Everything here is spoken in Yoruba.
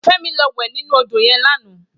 Femi lò wè ninú ódó yèn làná